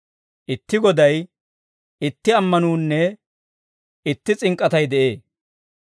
Itti Goday, itti ammanuunne itti s'ink'k'atay de'ee.